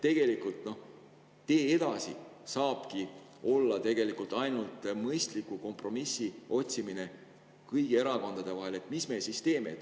Tegelikult tee edasi saabki olla ainult mõistliku kompromissi otsimine kõigi erakondade vahel, et mis me siis teeme.